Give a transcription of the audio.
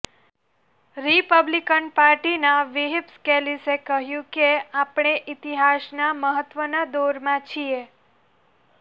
Republican પાર્ટીના whip સ્કેલિસે કહ્યું કે આપણે ઇતિહાસના મહત્ત્વના દોરમાં છીએ